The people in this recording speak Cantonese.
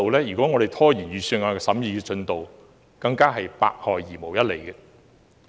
如果我們拖延預算案的審議進度，是百害而無一利的。